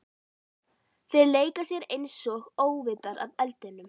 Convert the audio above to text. Þeir leika sér einsog óvitar að eldinum.